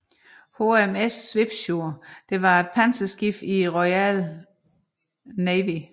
HMS Swiftsure var et panserskib i Royal Navy